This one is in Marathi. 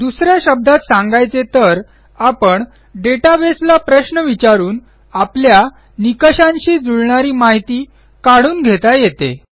दुस या शब्दात सांगायचे तर आपणdatabase ला प्रश्न विचारून आपल्या निकषांशी जुळणारी माहिती काढून घेता येते